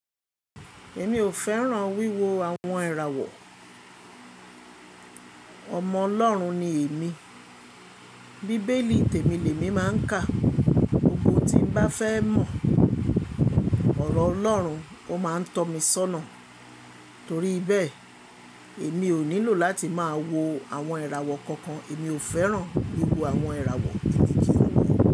Èmi ò fẹ́ràn wíwo àwọn ìràwọ̀. Ọmọ Ọlọ́run ni èmi. Bíbélì tèmi lémi máà ń kà. Oun tí n bá fẹ́ mọ ọ̀rọ̀ Ọlọ́run, ó máa ń tọ́ mi sọ́nà. Torí bẹ́ẹ̀, èmi ò nílò láti máa wo àwọn ìràwọ̀ kankan. Èmi ò fẹ́ràn wíwo àwọn ìràwọ̀ títí.